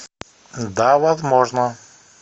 да возможно